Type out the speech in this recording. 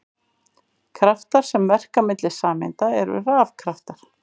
Kraftar sem verka milli sameinda eru rafkraftar.